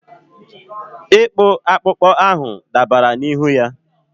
ịkpụ akpụkpọ ahụ dabara n'ihu ya.